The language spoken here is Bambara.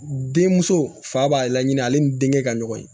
Denmuso fa b'a la ɲini ale ni denkɛ ka ɲɔgɔn ye